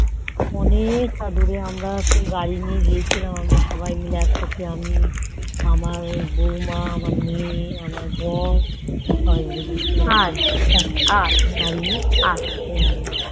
অনেক তা দূরে গাড়ি করে গিয়েছিলাম সবাই মিলে একসাথে আমি আমার বৌমা আমার মেয়ে আমার বড় সবাই মিলে গিয়েছিলাম